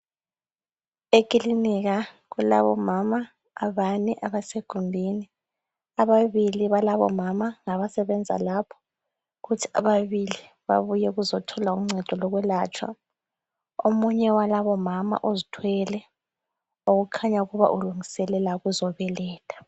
Ekilinika kulabomama abane abasegumbini, ababili balabo mama ngabasebenza lapho, kuthi ababili babuye ukuzothola uncedo lokwelatshwa. Omunye walabomama uzithwele okukhanya ukuba ulungiselela ukuzobeletha.